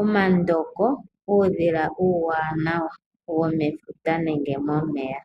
Omandoko, uudhila uuwanawa womomeya.